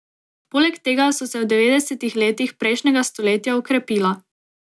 Poleg tega so se v devetdesetih letih prejšnjega stoletja okrepila.